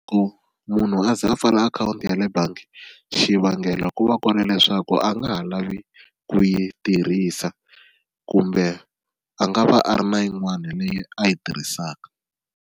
Ku munhu a ze a pfala akhawunti ya le bangi xivangelo ku va ku ri leswaku a nga ha lavi ku yi tirhisa kumbe a nga va a ri na yin'wana leyi a yi tirhisaka.